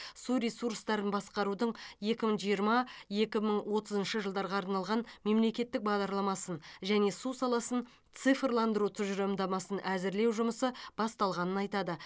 су ресурстарын басқарудың екі мың жиырма екі мың отызыншы жылдарға арналған мемлекеттік бағдарламасын және су саласын цифрландыру тұжырымдамасын әзірлеу жұмысы басталғанын айтады